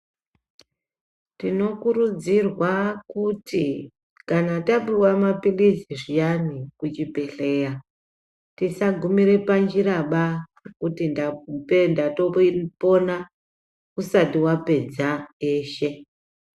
Tinokurudzirwa kuti kana tapuwa maphirizi zviyani kuchibhedhleya, tisagumire panjiraba kuti ndape kuti ndatombo kuti ndapona usati wapedza eshe.